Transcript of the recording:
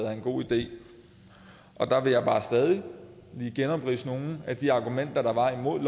er en god idé der vil jeg bare stadig lige genopridse nogle af de argumenter der var imod